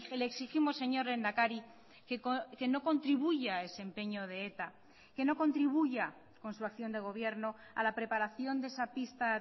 le exigimos señor lehendakari que no contribuya a ese empeño de eta que no contribuya con su acción de gobierno a la preparación de esa pista